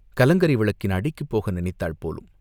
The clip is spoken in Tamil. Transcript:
கலங்கரை விளக்கின் அடிக்குப் போக நினைத்தாள் போலும்.